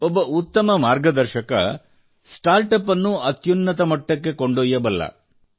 ಒಬ್ಬ ಉತ್ತಮ ಮಾರ್ಗದರ್ಶಕ ಸ್ಟಾರ್ಟಪ್ ಅನ್ನು ಅತ್ಯುನ್ನತ ಮಟ್ಟಕ್ಕೆ ಕೊಂಡಯ್ಯಬಲ್ಲ